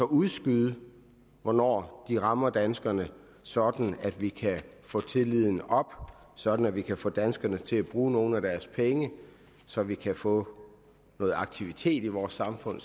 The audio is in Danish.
udskyde hvornår de rammer danskerne sådan at vi kan få tilliden op sådan at vi kan få danskerne til at bruge nogle af deres penge så vi kan få noget aktivitet i vores samfund